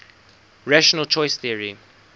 rational choice theory